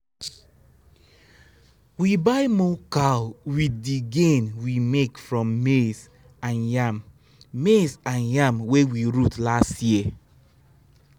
we buy more cow with the gain we make from maize and yam maize and yam wey we root last year